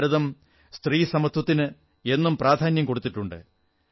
ഭാരതം സ്ത്രീസമത്വത്തിന് എന്നും പ്രധാന്യം കൊടുത്തിട്ടുണ്ട്